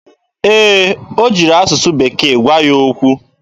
Ee, o jiri asụsụ bekee gwa ya okwu.